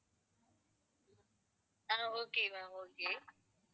ah okay ma'am okay